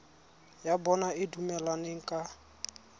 ya bona e dumelaneng ka